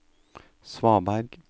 svaberg